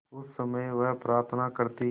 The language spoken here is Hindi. उस समय वह प्रार्थना करती